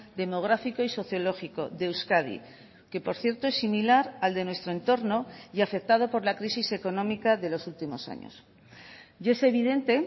demográfico y sociológico de euskadi que por cierto es similar al de nuestro entorno y afectado por la crisis económica de los últimos años y es evidente